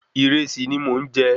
Ìresì ni mò n jẹ